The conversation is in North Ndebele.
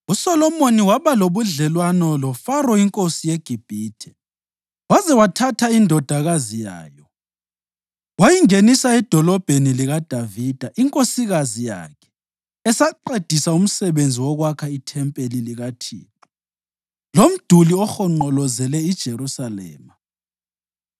USolomoni waba lobudlelwano loFaro inkosi yeGibhithe waze wathatha indodakazi yayo. Wayingenisa edolobheni likaDavida inkosikazi yakhe esaqedisa umsebenzi wokwakha ithempeli likaThixo, lomduli ohonqolozele iJerusalema.